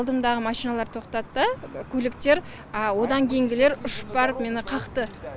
алдымдағы машиналар тоқтатты көліктер одан кейінгілер ұшып барып мені қақты